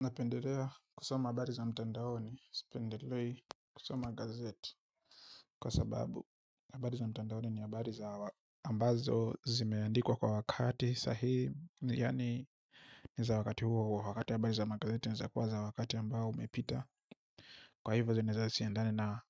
Napendelea kusoma habari za mtandaoni, sipendelei kusoma gazeti. Kwa sababu, habari za mtandaoni ni habari za ambazo zimeandikwa kwa wakati sahihi. Yaani, ni za wakati huo hui kwa wakati habari za magazeti ni za kuwa za wakati ambao umepita. Kwa hivyo, zinaeza siandani na